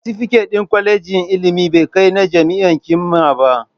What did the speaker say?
Satifiket ɗin kwalejin ilimi bai kai na jami'a ƙima ba